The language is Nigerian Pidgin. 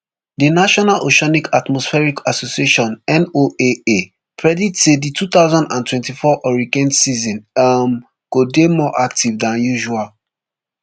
the national oceanic atmospheric association noaa predict say di two thousand and twenty-four hurricane season um go dey more active dan usual